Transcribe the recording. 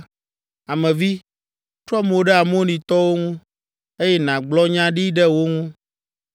“Ame vi, trɔ mo ɖe Amonitɔwo ŋu, eye nàgblɔ nya ɖi ɖe wo ŋu.